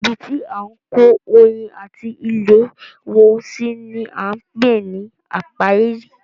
Ibi tí à ń kó oyin ati ilé wọn si ni á ń pè ní ápíárì.